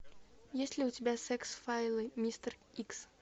есть ли у тебя секс файлы мистер икс